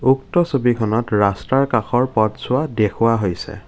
উক্ত ছবিখনত ৰাস্তাৰ কাষৰ পথছোৱা দেখুওৱা হৈছে।